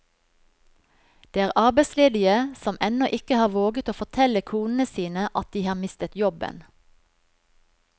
Det er arbeidsledige som ennå ikke har våget å fortelle konene sine at de har mistet jobben.